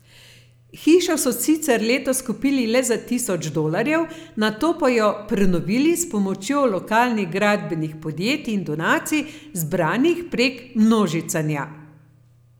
Hišo so sicer letos kupili le za tisoč dolarjev, nato pa jo prenovili s pomočjo lokalnih gradbenih podjetij in donacij, zbranih prek množicanja.